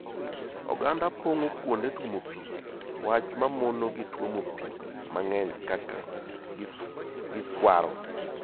oganda pongo kuonde tuomo pii wach mamono gi tuomo pii mangeny kaka giswaro.